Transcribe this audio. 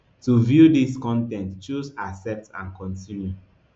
to view dis con ten t choose accept and continue